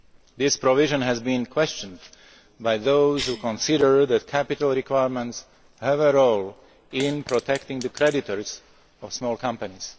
needs. This provision has been questioned by those who consider that capital requirements have a role in protecting the creditors of small companies.